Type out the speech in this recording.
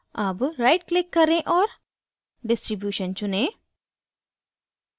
अब right click करें और distribution चुनें